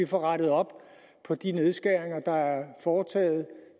får rettet op på de nedskæringer der er foretaget